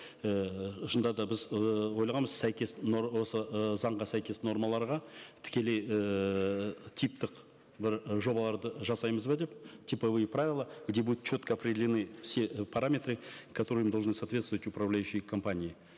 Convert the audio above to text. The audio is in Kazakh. ііі шынында да біз ыыы ойлағанбыз сәйкес осы ы заңға сәйкес нормаларға тікелей ііі типтік бір жобаларды жасаймыз ба деп типовые правила где будут четко определены все параметры которым должны соответствовать управляющие компании